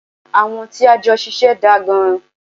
Àwọn tí a jọ ṣiṣẹ́ daa gan.